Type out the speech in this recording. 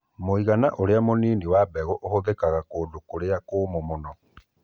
Mũigana ũrĩa mũnini wa mbegũ ũhũthĩkaga kũndũ kũrĩa kũũmũ mũno.